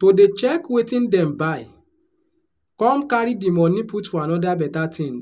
to dey check wetin dem buy come carry di money put for anoda beta tin